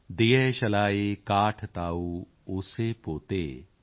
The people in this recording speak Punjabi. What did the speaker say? ਦਿਯਸ਼ਲਾਈ ਕਾਠਿ ਤਾਉ ਆਸੇ ਪੋਤੇ॥